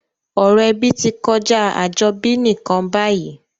Ọ̀rọ̀ ebí ti kojá àjobí nìkan bayìí